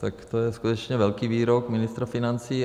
Tak to je skutečně velký výrok ministra financí.